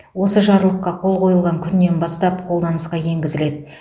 осы жарлыққа қол қойылған күнінен бастап қолданысқа енгізіледі